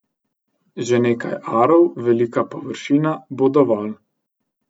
Že nekaj arov velika površina bo dovolj.